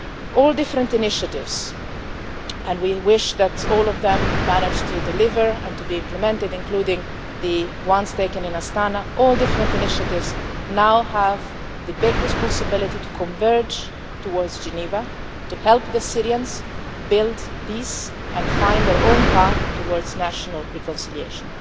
All different initiatives and we wish that all of them manage to deliver and to be implemented, including the ones taken in Astana now have the big responsibility to converge towards Geneva, to help the Syrians build peace and find their own path towards national reconciliation.